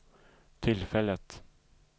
tillfället